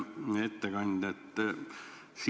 Hea ettekandja!